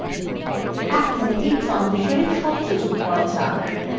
এখন এই ট্রানসিসানa শব্দ যোগ করা যাক